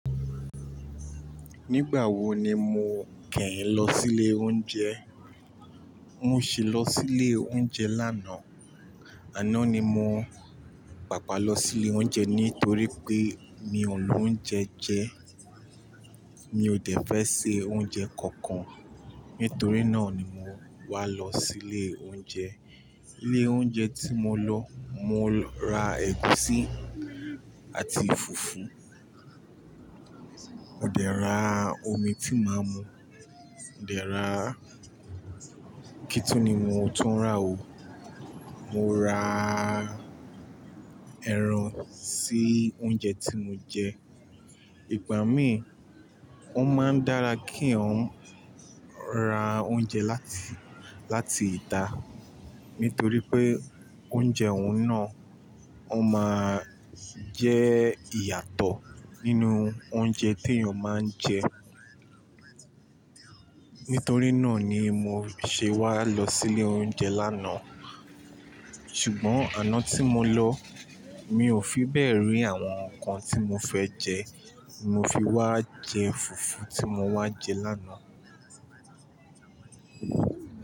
Nígbà wo ni mo kẹ́yín lọ sílé oúnjẹ? Mo ṣì lọ sílé oúnjẹ lánàá, àná ni mo pàpà lọ sílé oúnjẹ nítorí pé mi ò lo oúnjẹ jẹ. Mi ò dẹ̀ fẹ́ se oúnjẹ kankan, nítorí náà ni mo wá lọ sílé oúnjẹ. Ilé oúnjẹ tí mo lọ, mo ra ẹ̀gúsí àti fùfú. Mó dẹ̀ ra omi tí máa mu, ó dẹ̀ ra-- kí tún ni mo tún rà o? Mo ra ẹran sí oúnjẹ tí mo jẹ. Ìgbà mí, ó máa ń dára kí yàn ra oúnjẹ láti, láti ìta. Nítorí pé oúnjẹ ọ̀hun náà, ó máa jẹ́ ìyàtọ̀ nínú oúnjẹ tí èèyàn máa ń jẹ. Nítorí náà ni mo ṣe wá lọ sílé oúnjẹ lánàá. Ṣùgbọ́n àná tí mo lọ, mi ò fi bẹ̀ rí àwọn nǹkan tí mo fẹ́ jẹ. Mo fi wá jẹ fùfú tí mo wá jẹ lánàá.